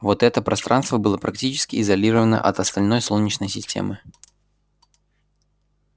вот это пространство было практически изолировано от остальной солнечной системы